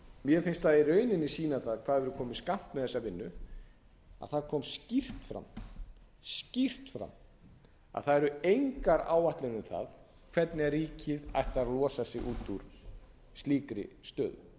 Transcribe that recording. mér finnst það í rauninni sýna það hvað við erum komin skammt með þessa vinnu að það kom skýrt fram að það eru engar áætlanir um það hvernig ríkið ætlar að losa sig út úr slíkri stöðu